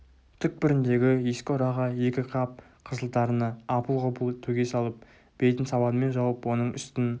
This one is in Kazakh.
түкпіріндегі ескі ұраға екі қап қызыл тарыны апыл-ғұпыл төге салып бетін сабанмен жауып оның үстін